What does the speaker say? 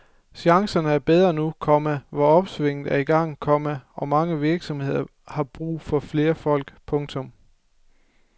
Chancerne er bedre nu, komma hvor opsvinget er i gang, komma og mange virksomheder har brug for flere folk. punktum